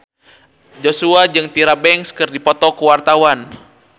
Joshua jeung Tyra Banks keur dipoto ku wartawan